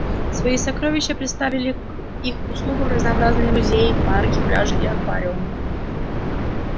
свои сокровища предоставили к их услугам разнообразные музеи парки пляжи и аквариумы